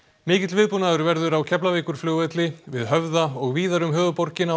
mikill viðbúnaður verður á Keflavíkurflugvelli við Höfða og víðar um höfuðborgina